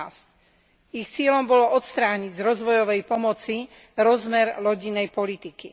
15. Ich cieľom bolo odstrániť z rozvojovej pomoci rozmer rodinnej politiky.